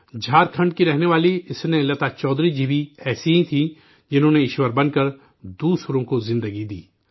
جھارکھنڈ کی رہنے والی اسنیہ لتا چودھری جی بھی ایسی ہی تھیں جنہوں نے ایشور بن کر دوسروں کو زندگی دی